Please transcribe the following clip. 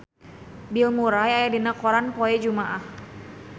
Bill Murray aya dina koran poe Jumaah